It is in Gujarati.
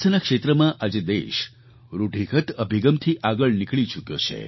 સ્વાસ્થ્યના ક્ષેત્રમાં આજે દેશ રૂઢિગત અભિગમથી આગળ નીકળી ચૂક્યો છે